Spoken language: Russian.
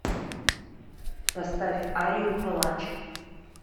поставь арию палач